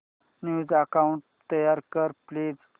new account तयार कर please